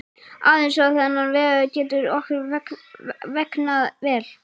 Aðeins á þennan vegu getur okkur vegnað vel.